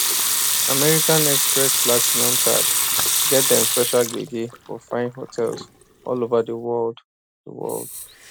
american express platinum card get dem special gbege for fine hotels all over di world di world